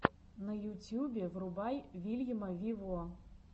на ютюбе врубай вильяма виво